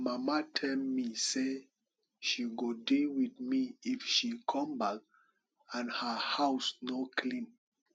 my mama tell me say she go deal with me if she come back and her house no clean